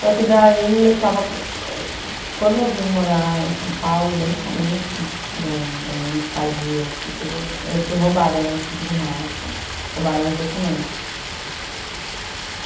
Só que daí eu estava... Quando eu vim morar em São Paulo, bem no começo da da minha estadia aqui, eu fui roubada no vinte e cinco de março, roubaram meus documentos.